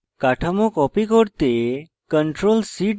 কাঠামো copy করতে ctrl + c টিপুন